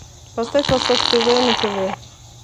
поставь восток тв на тв